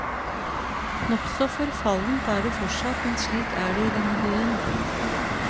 Nokså forfallent er det fortsatt, men slik er det i denne byen.